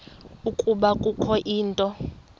ukuba kukho into